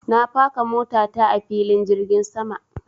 Na faka mota ta a filin jirgin sama.